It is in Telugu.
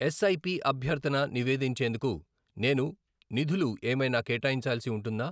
ఎస్ఐపి అభ్యర్థన నివేదించేందుకు నేను నిధులు ఏమైనా కేటాయించాల్సి ఉంటుందా?